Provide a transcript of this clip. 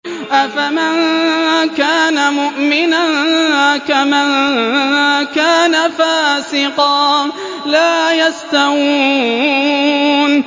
أَفَمَن كَانَ مُؤْمِنًا كَمَن كَانَ فَاسِقًا ۚ لَّا يَسْتَوُونَ